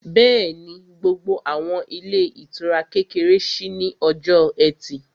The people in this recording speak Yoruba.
Bẹ́ẹ̀ni, gbogbo àwọn ilé ìtura kékeré ṣí ní ọjọ́ ẹtì